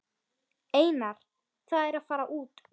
Einar: Það er að fara út.